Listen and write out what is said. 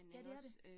Ja det er det